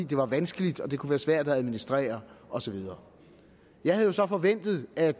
det var vanskeligt og det kunne være svært at administrere og så videre jeg havde jo så forventet at